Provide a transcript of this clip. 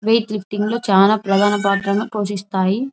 Wait లిఫ్టింగ్లు చాలా ప్రధాన పాత్రను పోషిస్తాయి.